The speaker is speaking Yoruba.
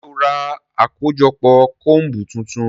Ṣe o rá akojọpọ combu tuntun?